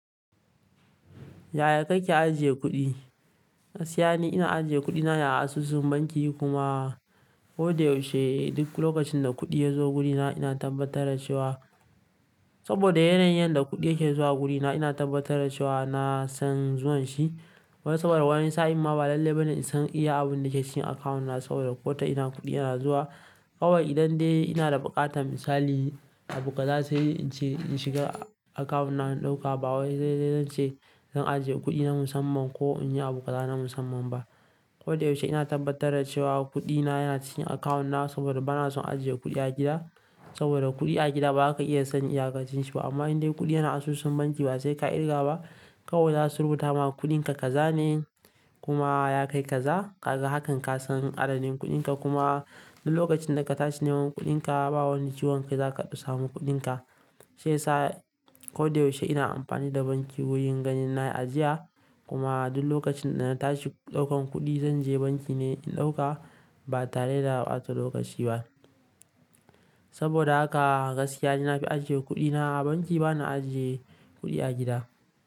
Yaya kake ajiye kuɗi? Gaskiya ne ina ajiye kuɗina a asusun banki kuma kodayaushe duk lokacin da kuɗi ya zo wurina ina tabbatar da cewa, saboda yanayin da kuɗi yake zuwa wurina ina tabbatar da cewa na san zuwan shi. Wai saboda wani sa'in ma ba lalle ba ne in san iya abin da ke cikin akawun na saboda ko ta ina kuɗi yana zuwa. Kawai idan dai ina da buƙatar misali, abu kaza sai in ce in shiga akawun na in ɗauka ba wai dai zan ce zan ajiye kudi na musamman ko in yi abu kaza na musamman ba. Kodayaushe ina tabbatar da cewa kuɗina yana cikin akawun na saboda bana son ajiye kuɗi a gida. Saboda kuɗi a gida ba ka iya san in yakacin shi ba amma in dai kuɗi yana asusun banki ba sai ka dirga ba. Kawai za su rubuta ma kuɗinka ka zane kuma ya kai kaza, ka ga hakan ka san adadin kuɗinka kuma duk lokacin da ka tashi neman kuɗinka ba wani ciwon kai za ka samu kuɗinka. Shi ya sa kodayaushe ina amfani da banki wurin ganin na yi ajiya kuma duk lokacin da na tashi ɗaukan kuɗi zan je banki ne in ɗauka ba tare da ɓata lokaci ba. Saboda haka gaskiya ne na fi ajiye kuɗina a banki bana ajiye kuɗi a gida.